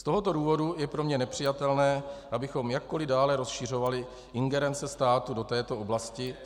Z tohoto důvodu je pro mě nepřijatelné, abychom jakkoliv dále rozšiřovali ingerence státu do této oblasti.